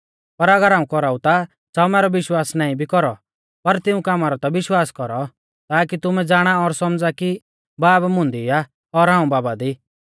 पर अगर हाऊं कौराऊ ता च़ाऊ मैरौ विश्वास नाईं भी कौरौ पर तिऊं कामा रौ ता विश्वास कौरौ ताकी तुमै ज़ाणा और सौमझ़ा कि बाब मुंदी आ और हाऊं बाबा दी